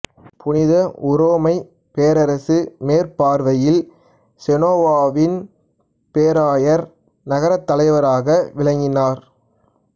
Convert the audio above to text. புனித உரோமைப் பேரரசு மேற்பார்வையில் செனோவாவின் பேராயர் நகரத்தலைவராக விளங்கினார்